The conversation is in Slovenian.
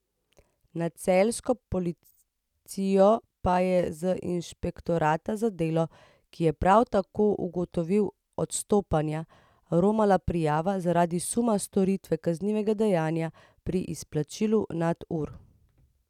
Na celjsko policijo pa je z inšpektorata za delo, ki je prav tako ugotovil odstopanja, romala prijava zaradi suma storitve kaznivega dejanja pri izplačilu nadur.